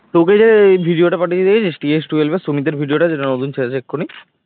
তোকে যে video টা পাঠিয়েছি দেখেছিস ps twelve এর সুমিতের video টা যেটা সুমিত ছেড়েছে এক্ষুনি